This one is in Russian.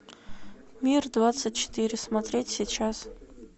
мир двадцать четыре смотреть сейчас